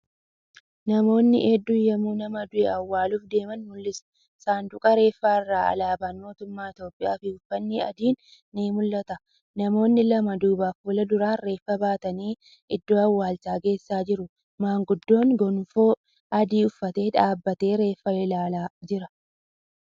Namoonni hedduun yemmuu nama du'e awwaaluuf deeman mul'isa. Sanduuqa reeffaa irra alaabaan mootummaa Itiyoophiyaafi uffanni adiin ni mul'ata. Namoonni lama duubafi fuulduraan reeffa baatanii iddoo awwaalchaa geessaa jiru. Maanguddoon gonfoo adii uffate dhaabatee reeffa ilaalaa jira.